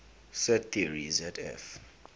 set theory zf